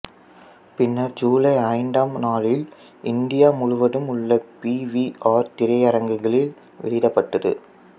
பின்னர் ஜூலை ஐந்தாம் நாளில் இந்தியா முழுவதும் உள்ள பி வி ஆர் திரையரங்குகளில் வெளியிடப்பட்டது